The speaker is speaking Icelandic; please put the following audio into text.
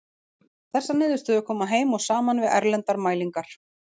Þessar niðurstöður koma heim og saman við erlendar mælingar.